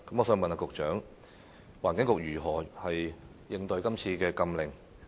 請問局長，環境局會如何應對是次禁令呢？